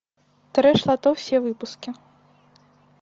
трэш лото все выпуски